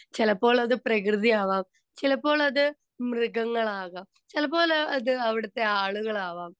speaker 2 ചിലപ്പോൾ അത് പ്രകൃതി ആവാം ചിലപ്പോൾ അത് മൃഗങ്ങളാവാം ചിലപ്പോൾ അത് അവിടുത്തെ ആളുകളാകാം